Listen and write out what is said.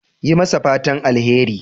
Yi masa fatan alheri.